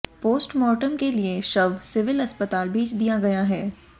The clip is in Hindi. पोस्टमार्टम के लिए शव सिविल अस्पताल भेज दिया गया है